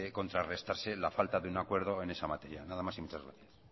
contrarrestrarse la falta de un acuerdo en esa materia nada más y muchas gracias